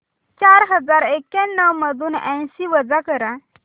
चार हजार एक्याण्णव मधून ऐंशी वजा कर